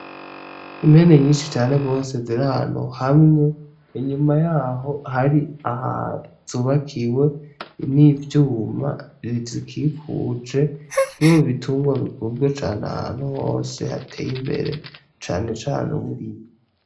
Impene nyishi cane rwose ziri ahantu hamwe inyuma yaho hari ahantu zubakiwe n'ivyuma bizikikuje, kimwe mu bitungwa bikunzwe cane ahantu hose hatey'imbere cane cane uburimyi.